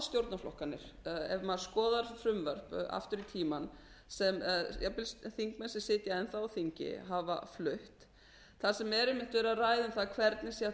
stjórnarflokkarnir ef maður skoðar frumvörp aftur í tímann sem jafnvel þingmenn sem sitja enn þá á þingi hafa flutt þar sem er einmitt verið að ræða um það hvernig sé hægt að